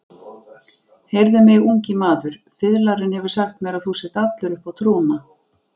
Heyrðu mig, ungi maður, fiðlarinn hefur sagt mér að þú sért allur uppá trúna.